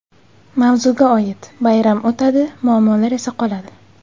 Mavzuga oid: Bayram o‘tadi, muammolar esa qoladi.